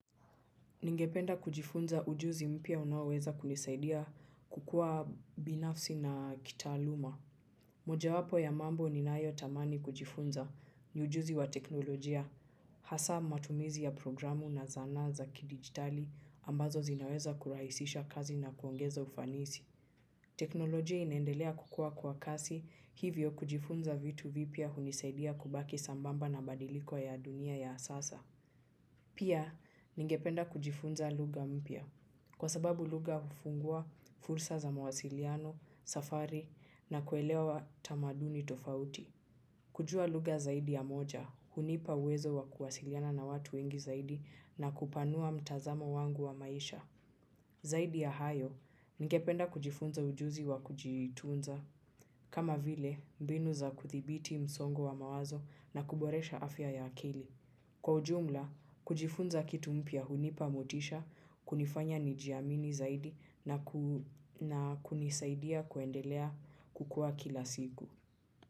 Ningependa kujifunza ujuzi mpya unaoweza kunisaidia kukuwa binafsi na kitaaluma. Mojawapo ya mambo ninayotamani kujifunza ni ujuzi wa teknolojia. Hasa matumizi ya programu na zanaa za kidijitali ambazo zinaweza kurahisisha kazi na kuongeza ufanisi teknolojia inendelea kukua kwa kasi hivyo kujifunza vitu vipya hunisaidia kubaki sambamba na badiliko ya dunia ya sasa. Pia ningependa kujifunza lugha mpya. Kwa sababu lugha hufungua fursa za mawasiliano, safari na kuelewa tamaduni tofauti. Kujua lugha zaidi ya moja, hunipa uwezo wa kuwasiliana na watu wengi zaidi na kupanua mtazamo wangu wa maisha. Zaidi ya hayo, ningependa kujifunza ujuzi wa kujitunza. Kama vile mbinu za kudhibiti msongo wa mawazo na kuboresha afya ya akili kwa ujumla, kujifunza kitu mpya hunipa motisha, kunifanya nijiamini zaidi na kunisaidia kuendelea kukua kila siku.